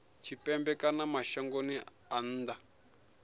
tshipembe kana mashangoni a nnḓa